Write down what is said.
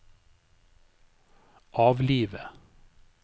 avlive